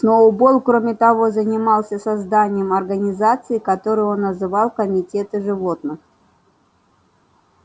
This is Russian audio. сноуболл кроме того занимался созданием организаций которые он называл комитеты животных